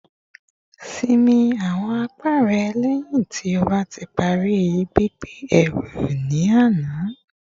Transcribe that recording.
Sinmi awọn apá rẹ lẹhin ti o ti pari gbigbe eru ni ana